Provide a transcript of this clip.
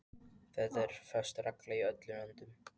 Það er föst regla í öllum löndum.